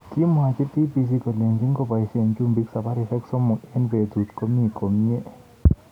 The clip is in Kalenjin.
Kimwochi BBC kolenji ngoboishe chumbik sabarishek somok eng betut komi komye.